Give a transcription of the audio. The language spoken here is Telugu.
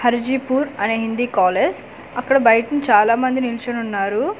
హర్జిపూర్ అనే హిందీ కాలేజ్ అక్కడ బయట్-- చలా మంది నిల్చొని ఉన్నారు ఒక.